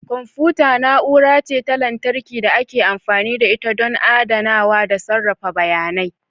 Kwamfuta na'ura ce ta lantarki da ake amfani da ita ɗon adanawa da sarrafa bayanai.